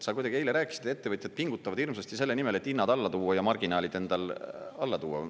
Sa kuidagi eile rääkisid, et ettevõtjad pingutavad hirmsasti selle nimel, et hinnad alla tuua ja marginaalid endal alla tuua.